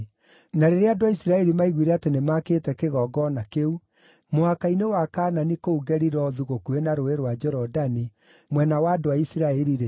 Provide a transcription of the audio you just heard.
Na rĩrĩa andũ a Isiraeli maaiguire atĩ nĩmakĩte kĩgongona kĩu mũhaka-inĩ wa Kaanani kũu Gelilothu gũkuhĩ na Rũũĩ rwa Jorodani mwena wa andũ a Isiraeli-rĩ,